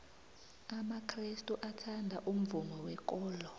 amakrestu athanda umvumo wekolo